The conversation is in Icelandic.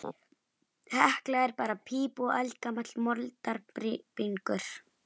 Hekla er bara píp og eldgamall moldarbingur.